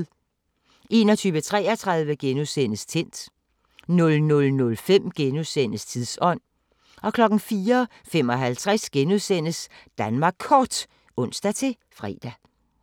21:33: Tændt * 00:05: Tidsånd * 04:55: Danmark Kort *(ons-fre)